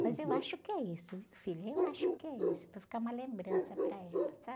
Mas eu acho que é isso, filho, eu acho que é isso, para ficar uma lembrança para ela, sabe?